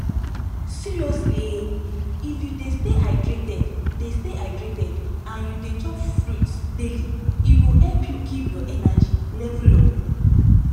seriously ehh if you de stay hydrated de stay hydrated and you de chop fruits daily e go help you keep your energy level up